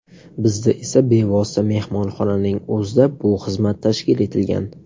Bizda esa bevosita mehmonxonaning o‘zida bu xizmat tashkil etilgan.